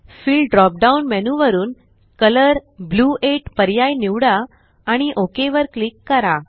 fill drop down menu वरुन colour blue 8 पर्याय निवडा आणि OKवर क्लिक करा